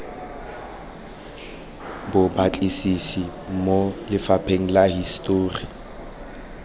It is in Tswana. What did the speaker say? bobatlisisi mo lephateng la histori